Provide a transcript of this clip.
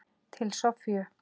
Til Soffíu.